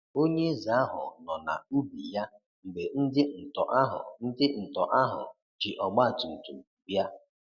onyeeze ahụ nọ na ubi ya mgbe ndị ntọ ahụ ndị ntọ ahụ jị ọgbatumtum bịa.